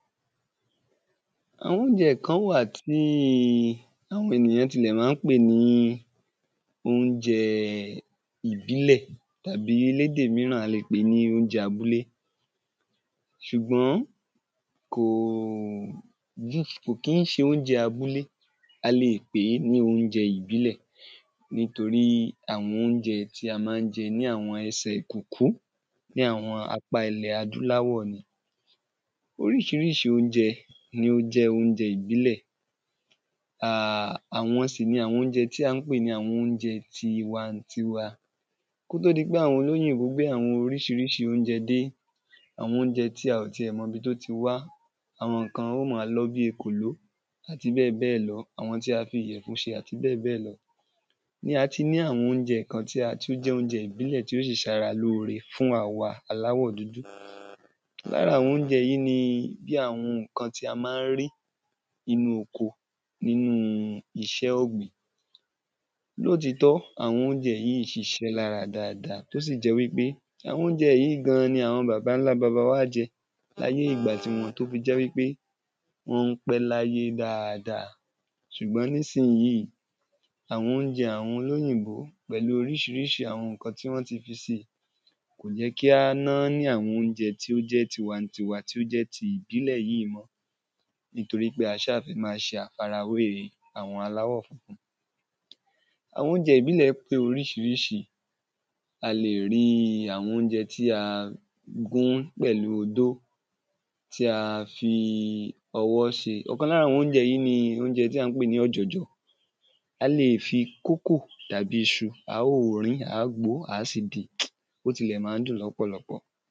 àwọn oúnjẹ kan wà tí àwọn ènìyàn ma ń pè ní oúnjẹ ìbílẹ̀ tàbí lédè míràn, a lè pè é ní oúnjẹ abúlé ṣùgbọ́n kò kií ṣe oúnjẹ abúlé, a lè pè é ní oúnjẹ ìbílẹ̀, nítorí àwọn oúnjẹ tí a máa jẹ lẹ́sẹ̀ kúkú, ní àwọn apá ilẹ̀ adúláwọ̀ ni oríṣiríṣi oúnjẹ ní ó jẹ́ oúnjẹ ìbílẹ̀, àwọn sì ni àwọn oúnjẹ tí a pè ní tiwatiwa kó tó di pé àwọn olóyìnbó gbé àwọn oríṣiríṣi oúnjẹ dé, àwọn oúnjẹ tí a ò ti ẹ̀ mọ ibi tí ó ti wá àwọn kan óò ma lọ́ bíi èkòló, àti bẹ́ẹ̀ bẹ́ẹ̀ lọ àwọn tí a fi ìyẹ̀fun ṣe àti bẹ́ẹ̀ bẹ́ẹ̀ lọ ni a ti ní àwọn oúnjẹ ìbílè kan tí ó jẹ oúnjẹ ìbílẹ̀ tún ṣe ara lóore fún àwa aláwọ̀ dúdú lára àwọn oúnjẹ yìí bí àwọn ǹkan tí a ma ń rí nínu oko, nínu iṣẹ́ ọ̀gbìn lótìítọ́, àwọn oúnjẹ yìí ṣiṣẹ́ lára dáadáa, tí ó sì jẹ wípé àwọn oúnjẹ yìí gan ni àwọn baba ńlá wa jẹ ní ayé ìgba tiwọn tí ó fi jẹ́ wípé wọ́n ń pẹ́ láyé dáadáa ṣùgbọ́n nísìnyí, àwọn oúnjẹ àwọn olóyìnbó pẹ̀lu oríṣiríṣi àwọn ǹkan tí wọ́n ti fi sí kò jẹ́ kí á nání àwọn oúnjẹ tiwatiwa tí ó jẹ́ ti ìbílẹ̀ yìí mọ́ nítorí pé a sá fẹ́ máa ṣe àfarawé àwọn aláwọ̀ funfun. àwọn oúnjẹ ìbílẹ̀ pé oríṣiríṣi, a lè rí àwọn oúnjẹ tí a gún pẹ̀lu odó, tí a fi ọwọ́ ṣe, ọ̀kan lára àwọn oúnjẹ yìí ni oúnjẹ a pè ní ọ̀jọ̀jọ̀. a lè ki kókò tàbí iṣu, a óò rín in, a óò gbo ó, a sì din, ó tilẹ̀ ma ń dùn lọ́pọ̀lọpọ̀